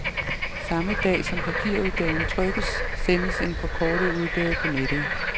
Samme dag som papirudgaven trykkes, sendes en forkortet udgave på nettet.